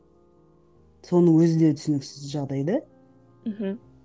соның өзі де түсініксіз жағдай да мхм